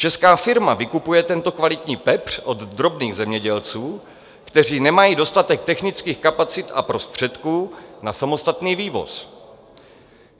Česká firma vykupuje tento kvalitní pepř od drobných zemědělců, kteří nemají dostatek technických kapacit a prostředků na samostatný vývoz.